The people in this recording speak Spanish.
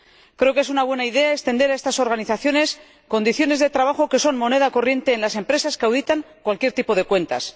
Creo que es una buena idea extender a estas organizaciones condiciones de trabajo que son moneda corriente en las empresas que auditan cualquier tipo de cuentas.